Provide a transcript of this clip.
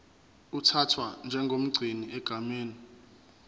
uthathwa njengomgcini egameni